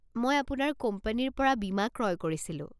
মই আপোনাৰ কোম্পানীৰ পৰা বীমা ক্ৰয় কৰিছিলো।